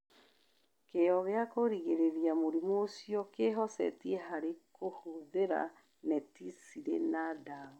Kĩyo gĩa kũgirĩrĩria mũrimũ ũcio Kĩhocetie harĩ kũhũthĩra neti cirĩ na ndawa.